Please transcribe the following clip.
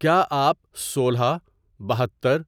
کیا آپ سولہ، بہتر،